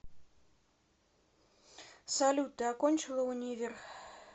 салют ты окончила универ